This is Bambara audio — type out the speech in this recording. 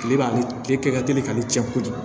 Kile b'ale tile ka teli k'ale cɛ kojugu